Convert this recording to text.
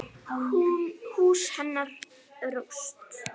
Hús hennar rúst.